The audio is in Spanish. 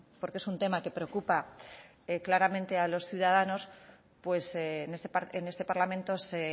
porque es un tema que preocupa claramente a los ciudadanos en este parlamento se